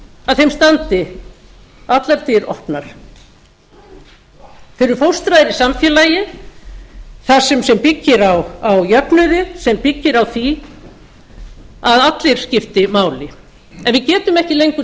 að þeim standi allar dyr opnar þeir eru fóstraðir í samfélagi sem byggir á jöfnuði sem byggir á því að allir skipti máli en við getum ekki lengur